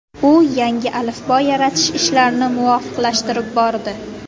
U yangi alifbo yaratish ishlarini muvofiqlashtirib bordi.